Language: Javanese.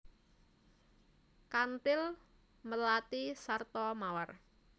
Kanthil melati sarta mawar